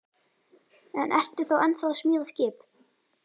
En ertu ennþá að smíða skip?